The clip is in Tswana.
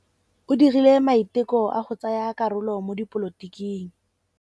O dirile maitekô a go tsaya karolo mo dipolotiking.